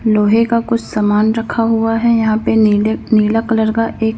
लोहे का कुछ सामान रखा हुआ है यहां पे नीले नीला कलर का एक--